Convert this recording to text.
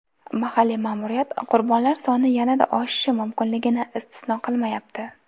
Mahalliy ma’muriyat qurbonlar soni yanada oshishi mumkinligini istisno qilmayapti.